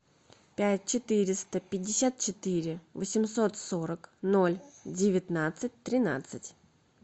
пять четыреста пятьдесят четыре восемьсот сорок ноль девятнадцать тринадцать